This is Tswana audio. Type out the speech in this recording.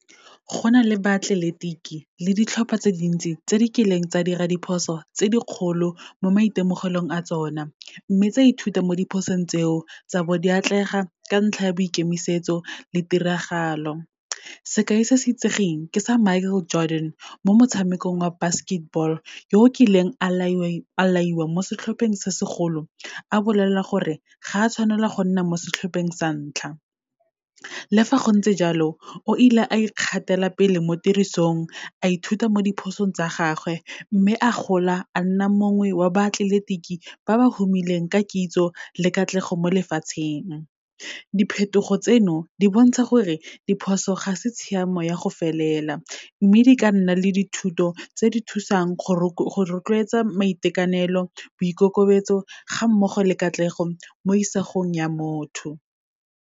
Go na le baatleletiki le ditlhopha tse dintsi tse di kileng tsa dira diphoso tse di kgolo mo maitemogelong a tsona, mme tsa ithuta mo diphosong tseo, tsa bo di atlega ka ntlha ya boikemisetso le tiragalo. Sekai se se itsegeng ke sa Michael Jordan, mo motshamekong wa basketball, yo kileng a laiwa mo setlhopheng sa segolo, a bolelela gore ga a tshwanela go nna mo setlhopheng sa ntlha. Le fa gontse jalo, o ile a ikgatelapele mo tirisong, a ithuta mo diphosong tsa gagwe, mme a gola a nna mongwe wa baatleletiki ba ba humileng ka kitso le katlego mo lefatsheng. Diphetogo tseno, di bontsha gore diphoso ga se tshiamo ya go felela, mme di ka nna le dithuto tse di thusang go rotloetsa maitekanelo, boikokobetso, ga mmogo le katlego, mo isagong ya motho.